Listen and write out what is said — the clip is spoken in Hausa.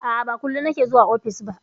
A'a, ba kullum nake zuwa ofis ba.